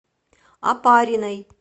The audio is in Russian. опариной